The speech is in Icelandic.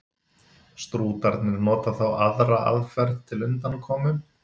Strútarnir nota þá aðra aðferð til undankomu.